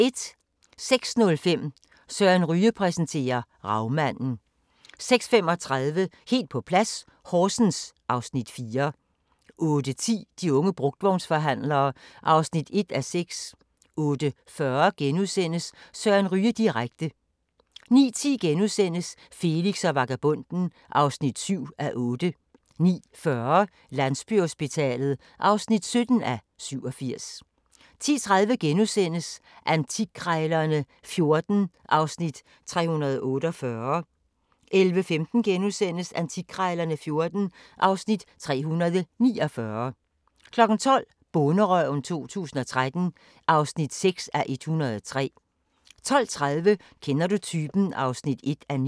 06:05: Søren Ryge præsenterer: Ravmanden 06:35: Helt på plads - Horsens (Afs. 4) 08:10: De unge brugtvognsforhandlere (1:6) 08:40: Søren Ryge direkte * 09:10: Felix og vagabonden (7:8)* 09:40: Landsbyhospitalet (17:87) 10:30: Antikkrejlerne XIV (Afs. 348)* 11:15: Antikkrejlerne XIV (Afs. 349)* 12:00: Bonderøven 2013 (6:103) 12:30: Kender du typen? (1:9)